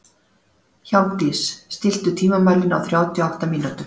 Hjálmdís, stilltu tímamælinn á þrjátíu og átta mínútur.